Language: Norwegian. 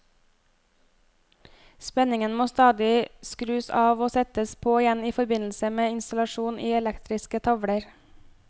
Spenningen må stadig skrus av og settes på igjen i forbindelse med installasjon i elektriske tavler.